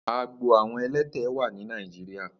Àágbó awọn ẹ̀lẹ̀tẹ̀ wà ni Nàijiriá